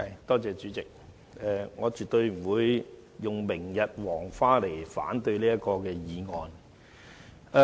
代理主席，我絕對不會以"明日黃花"為由來反對這項議案。